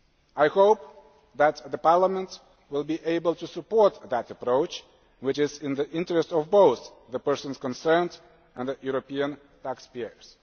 I hope that Parliament will be able to support that approach, which is in the interests of both the persons concerned and the European taxpayers.